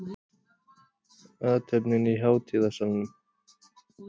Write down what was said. Athöfnin í hátíðasalnum